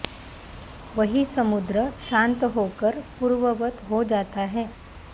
वही समुद्र शान्त होकर पूर्ववत् हो जाता है